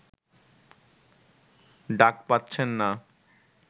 ডাক পাচ্ছেন না